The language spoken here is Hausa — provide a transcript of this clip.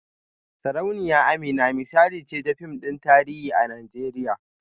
Sarauniya Amina misali ce ta fim din tarihi a Najeriya